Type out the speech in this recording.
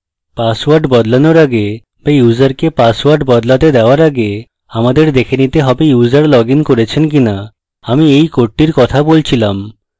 password বদলানোর আগে was ইউসারকে পাসওয়ার্ড বদলাতে দেওয়ার আগে আমাদের দেখে নিতে have users লগইন করেছেন কিনাআমি এই কোডটির কথা বলছিলাম